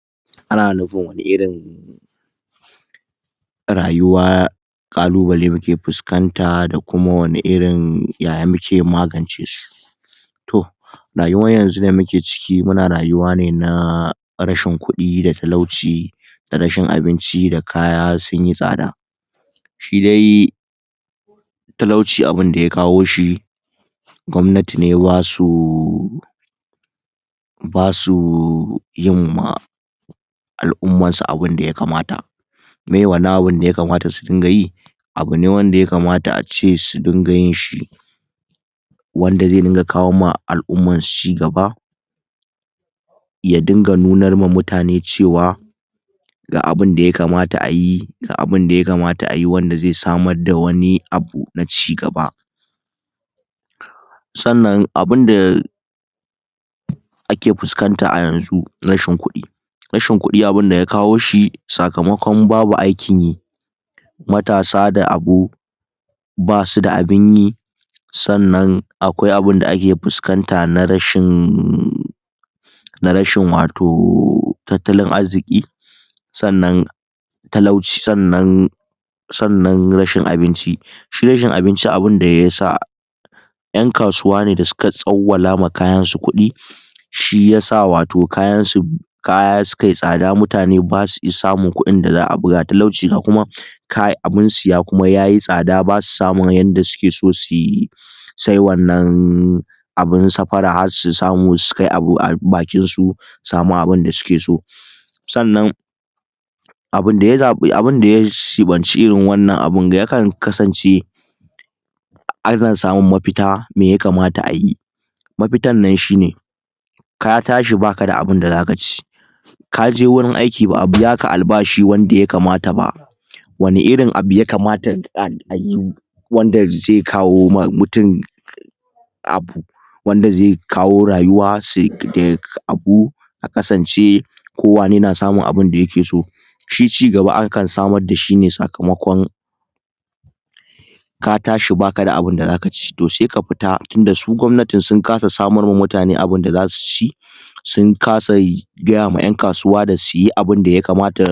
Ana nufin wane irin rayuwar kalubalai kake fuskanta da kuma wane irin yaya muke magance su to rayuwar yanzu da muke ciki muna rayuwa ne na rashin kudi da talauci da rashin abinci da kuma kaya sunyi tsada shi dai talauci abinda ya kawo shi gwamnati ne basu basu yinma al'umman su abinda ya kamata miye wannan abin da ya kamata su dinga yi abu ne wanda ya kamata ace su dinga yinshi wanda zai dinga kawo ma al'umman su cigaba ya dinganunar ma mutane cewa ga abinda ya kamata ayi ga abinda ya kamata ayi wanda zai samar da wani abu na cigaba sannan abinda ake fuskanta ayanzu rashin kudi rashin kudi abinda ya kawo shi sakamakon babu aikin yi matasa da abu ba suda abinyi sannan akwai abinda ake fuskanta na rashin wato tattalin arziki sannan talauci sannan sannan rashin abinci shi rashiin abinci abinda ya sa yan kasuwa ne da suka tsawwala ma kayan su kudi shiyasa wato kayan su kaya su kai tsada mutane basu isa talauci ga kuma kai abinsu kuma yayi tsada basu samun yadda suke so suyi sai wannan abin saffafra su samu su kai abu a bakin su samu abinda suke so sannan abun da ya dibanci irin wanan abun yakan kasance ana samun mafita me ya kamata ayi mafitannan shine ka tashi bakada abinda zaka ci kaje warin aiki ba'a biyaka albashi yanda ya kamata ba wane irin abu ya kamata ayi wanda zai kawo ma mutum abu wanda zai kawo rayuwa a kanace kowane yana samun abinda yake so shi cigaba akan samar dashi ne sakamakon ka tashi bakada abinda zakaci to sai ka fita tunda su gwamnatin sun kasa samar wa mutane abinda zasuci sun kasa gaya ma yan kasuwa da suyi abinda ya kamata